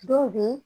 Dɔw bɛ